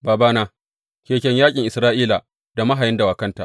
Babana, keken yaƙin Isra’ila da mahayan dawakanta!